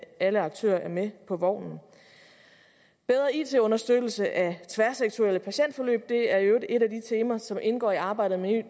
alle aktører er med på vognen bedre it understøttelse af tværsektorielle patientforløb er i øvrigt et af de temaer som indgår i arbejdet med